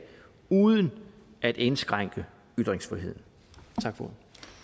uden at indskrænke ytringsfriheden tak for